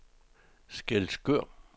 Skælskør